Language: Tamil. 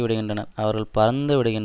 விடுகின்றனர் அவர்கள் பறந்து விடுகின்